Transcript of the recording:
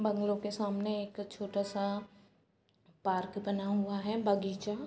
Bungalow के सामने एक छोटा-सा पार्क बना हुआ है बागीचा।